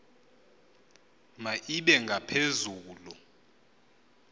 ma ibe ngaphezulu